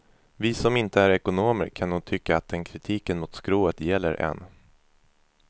Vi som inte är ekonomer kan nog tycka att den kritiken mot skrået gäller än.